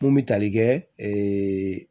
Mun bɛ tali kɛ